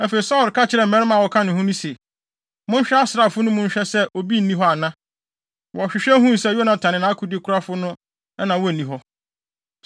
Afei, Saulo ka kyerɛɛ mmarima a wɔka ne ho no se, “Monhwɛ asraafo no mu nhwɛ sɛ obi nni hɔ ana.” Wɔhwehwɛ huu sɛ Yonatan ne nʼakodekurafo no na na wonni hɔ.